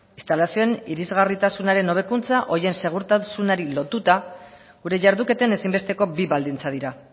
instalazioen irisgarritasunaren hobekuntza horien segurtasunari lotuta gure jarduketen ezinbesteko bi baldintza dira